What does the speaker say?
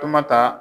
Kuma ta